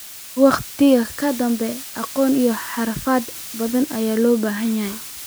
Waqti ka dib, aqoon iyo xirfado badan ayaa loo baahan lahaa.